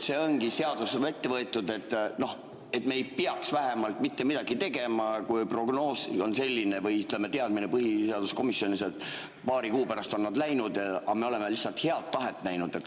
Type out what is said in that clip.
See seadus ongi meil ette võetud, et me ei peaks vähemalt mitte midagi tegema, kui prognoos või teadmine on põhiseaduskomisjonis selline, et paari kuu pärast on nad läinud, aga me oleme lihtsalt head tahet näidanud.